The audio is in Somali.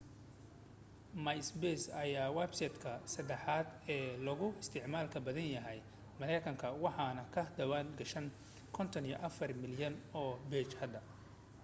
myspace ayaa websiteka sadaxaad ee loogu isticmaalka badan yahay mareykanka waxaan ka diwaan gashan 54 milyan oo page hadda